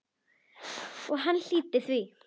Og hann hlýddi því.